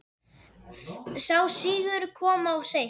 Sá sigur kom of seint.